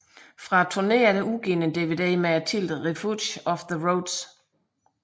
Fra turneen er udgivet en dvd med titlen Refuge of the Roads